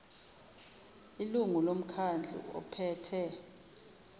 ilungu lomkhandlu ophethe